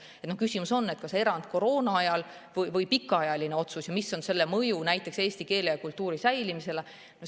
Küsimus on, kas erand koroonaajal või pikaajaline otsus ja mis on selle mõju näiteks eesti keele ja kultuuri säilimisele.